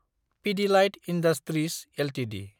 Pidilite industries Ltd